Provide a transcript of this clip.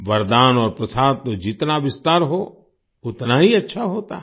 वरदान और प्रसाद तो जितना विस्तार हो उतना ही अच्छा होता है